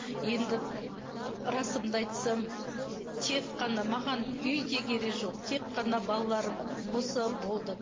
енді расымды айтсам тек қана маған үй де керек жоқ тек қана балаларым болса болды